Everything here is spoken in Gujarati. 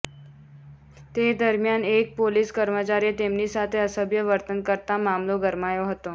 તે દરમિયાન એક પોલીસ કર્મચારીએ તેમની સાથે અસભ્ય વર્તન કરતાં મામલો ગરમાયો હતો